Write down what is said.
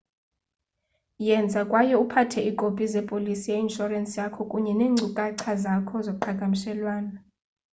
yenza kwaye uphathe iikopi zepolisi ye-inshorensi yakho kunye neenkcukacha zakho zoqhagamshelwanoi